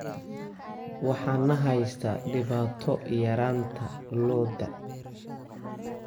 Waxaa na haysata dhibaato yaraanta lo'da.